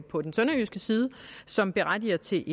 på den sønderjyske side som berettiger til